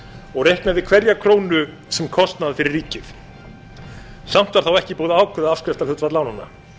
og reiknaði hverja krónu sem kostnað fyrir ríkið samt var þá ekki búið að ákveða afskriftarhlutfall lánanna